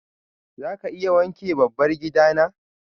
za ka iya wanke dabbar gida na?